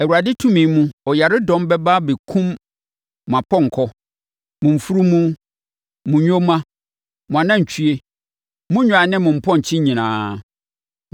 Awurade tumi mu ɔyaredɔm bɛba abɛkum mo apɔnkɔ, mo mfunumu, mo nyoma, mo anantwie, mo nnwan ne mo mpɔnkye nyinaa.